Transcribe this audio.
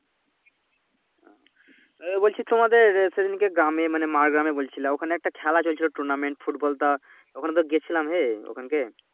এহ বলছি তোমাদের সেদিনকে গ্রামে মানে মার গ্রামে বলছিলা ঐখানে একটা খেলা চলছিলো Tournament ফুটবল তখনও তো গেছিলাম হ্যাঁ ওইখান কে